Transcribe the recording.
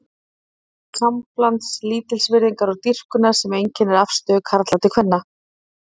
Óttinn leiðir til samblands lítilsvirðingar og dýrkunar sem einkennir afstöðu karla til kvenna.